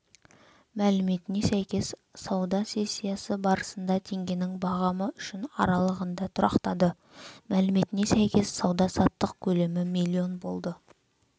мәліметіне сәйкес сауда сессиясы барысында теңгенің бағамы үшін аралығында тұрақтады мәліметіне сәйкес сауда-саттық көлемі миллион болды